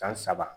San saba